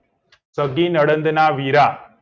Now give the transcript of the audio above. સગી નડદ ના વીરા